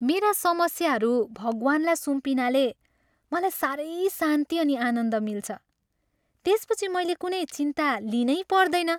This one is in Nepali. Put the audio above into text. मेरा समस्याहरू भगवान्लाई सुम्पिनाले मलाई साह्रै शान्ति अनि आनन्दले मिन्छ। त्यसपछि मैले कुनै चिन्ता लिनैपर्दैन।